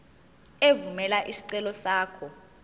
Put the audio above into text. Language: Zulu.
evumela isicelo sakho